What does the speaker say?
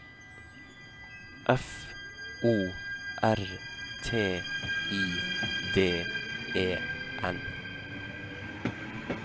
F O R T I D E N